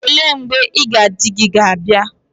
Ole mgbe iga di gi ga abia?